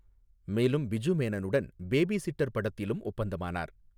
மேலும், பிஜு மேனனுடன் babysitter படத்திலும் ஒப்பந்தமானார்.